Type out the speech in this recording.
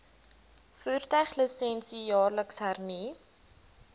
voertuiglisensie jaarliks hernu